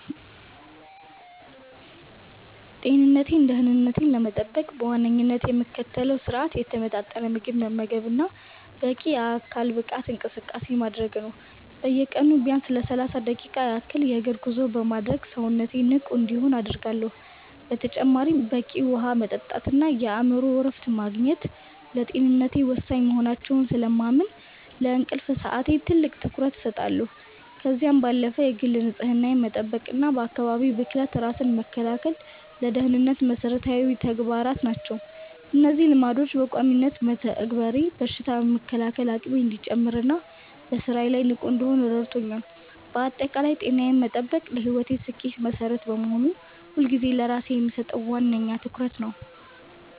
ጤንነቴንና ደህንነቴን ለመጠበቅ በዋነኝነት የምከተለው ስርአት የተመጣጠነ ምግብ መመገብና በቂ የአካል ብቃት እንቅስቃሴ ማድረግ ነው። በየቀኑ ቢያንስ ለሰላሳ ደቂቃ ያህል የእግር ጉዞ በማድረግ ሰውነቴ ንቁ እንዲሆን አደርጋለሁ። በተጨማሪም በቂ ውሃ መጠጣትና የአእምሮ እረፍት ማግኘት ለጤንነቴ ወሳኝ መሆናቸውን ስለማምን፣ ለእንቅልፍ ሰዓቴ ትልቅ ትኩረት እሰጣለሁ። ከዚህም ባለፈ የግል ንጽህናን መጠበቅና ከአካባቢ ብክለት ራስን መከላከል ለደህንነቴ መሰረታዊ ተግባራት ናቸው። እነዚህን ልማዶች በቋሚነት መተግበሬ በሽታ የመከላከል አቅሜ እንዲጨምርና በስራዬ ላይ ንቁ እንድሆን ረድቶኛል። ባጠቃላይ ጤናዬን መጠበቅ ለህይወቴ ስኬት መሰረት በመሆኑ፣ ሁልጊዜም ለራሴ የምሰጠው ዋነኛ ትኩረት ነው።